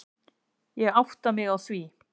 Ég átta mig á því.